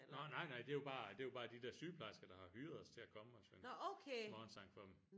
Nå nej nej det er jo bare det er jo bare de der sygeplejersker der har hyret os til at komme og synge morgensang for dem